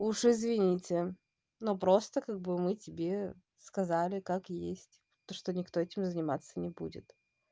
уж извините но просто как бы мы тебе сказали как есть то что никто этим заниматься не будет